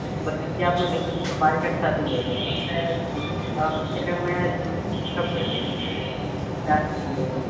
પછી ત્યાં આપડું market થાતું જાય આપડે અત્યારે મેં